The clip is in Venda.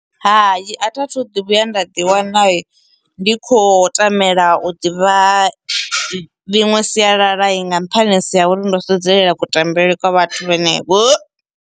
Hai, a thi a thu ḓi vhuya nda ḓi wana ndi khou tamela u ḓivha miṅwe sialala nga nṱhanisi ya uri ndo sedzelela kutambele kwa vhathu vhenevho.